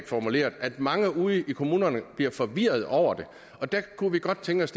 formuleret at mange ude i kommunerne bliver forvirrede over det og der kunne vi godt tænke os